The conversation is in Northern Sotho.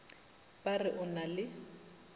ba re o na le